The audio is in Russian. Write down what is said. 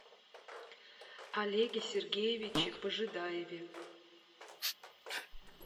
олеге сергеевиче пожидаеве